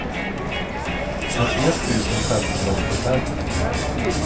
åttioett tusen femhundraåttiofem